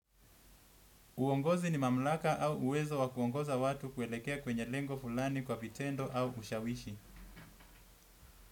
Uongozi ni mamlaka au uwezo wa kuongoza watu kuelekea kwenye lengo fulani kwa vitendo au ushawishi.